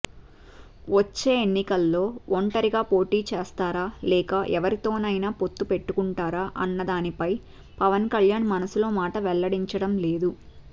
వచ్చే ఎన్నికల్లో ఒంటరిగా పోటీచేస్తారా లేక ఎవరితోనైనా పొత్తు పెట్టుకుంటారా అన్నదానిపై పవన్ కళ్యాణ్ మనసులో మాట వెల్లడించడం లేదు